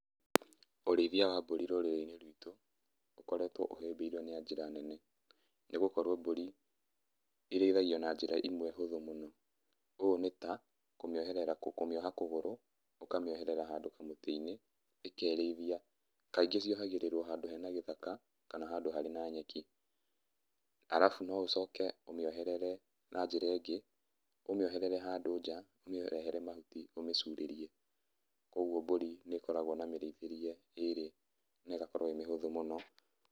Ũrĩthia wa Mbũri rũrĩrĩ-inĩ rwitũ, ũkoretwo ũhĩmbĩirio na njĩra nene. Nĩgũkorwo Mbũri, irĩithagio na njĩra ĩmwe hũthũ mũno. Ũũ nĩ ta, kũmĩoherera, kũmĩoha kũgũrũ, ũkamĩoherera handũ kamũtĩ-inĩ ĩkerĩithia. Kaingĩ ciohagĩrĩrwo handũ he na gĩthaka kana handũ harĩ na nyeki. Arabu noũcoke ũmĩoherere na njĩra ĩngĩ, ũmĩoherere handũ nja, ũmĩrehere mahuti ũmĩcurĩrie. Koguo Mbũri nĩkoragwo na mĩrĩithĩrie ĩrĩ, na ĩgakorwo ĩ mĩhũthũ mũno